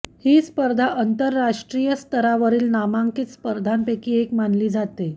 ही स्पर्धा आंतरराष्ट्रीय स्तरावरील नामांकित स्पर्धांपैकी एक मानली जाते